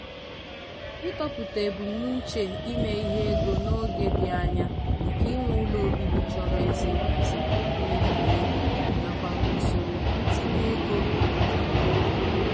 ịtọpụta ebumnuche ime ihe ego n'oge dị anya dịka inwe ụlọ obibi chọrọ ezi nhazi mmefu ego nakwa usoro ntinye ego akpachapụụrụ nya.